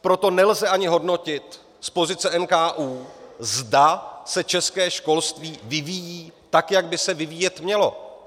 Proto nelze ani hodnotit z pozice NKÚ, zda se české školství vyvíjí tak, jak by se vyvíjet mělo.